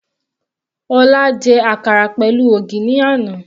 Ọlá jẹ àkàrà pẹ̀lú ògì ní àná.